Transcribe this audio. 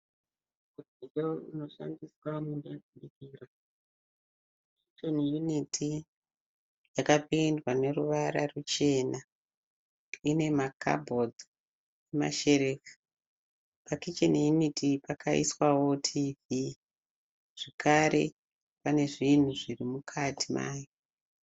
Mudziyo unonoshandiswa mumba yekubikira. Kicheni yuniti yakapendwa neruvara ruchena. Ine makabhodhi nemasherefu. Pakicheni yuniti iyi pakaiswawo tivhi, zvakare pane zvinhu zviri mukati mayo.